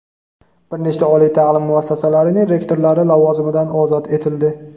bir nechta oliy ta’lim muassasalarining rektorlari lavozimidan ozod etildi.